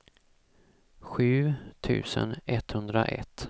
sju tusen etthundraett